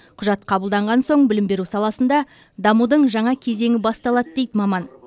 құжат қабылданған соң білім беру саласында дамудың жаңа кезеңі басталады дейді маман